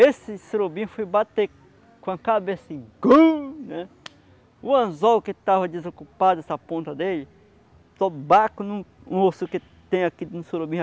Esse surubim foi bater com a cabeça e né... O anzol que tava desocupado, essa ponta dele, só bate em um osso que tem aqui no surubim.